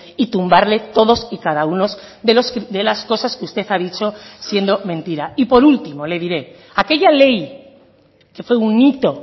y tumbarle todos y cada uno de las cosas que usted ha dicho siendo mentira y por último le diré aquella ley que fue un hito